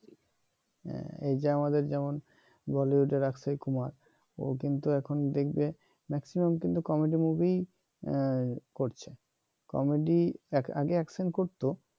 এইযে আমাদের যেমন বলিউডের অক্ষয় কুমার ও কিন্তু এখন দেখবে maximum কিন্তু কমেডি মুভিই করছে কমেডি আগে অ্যাকশন করতো